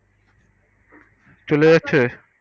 চলে যাচ্ছে